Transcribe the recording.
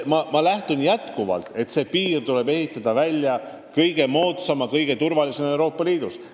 Samas ma lähtun endiselt eesmärgist, et see piir tuleb ehitada kõige moodsam ja kõige turvalisem Euroopa Liidus.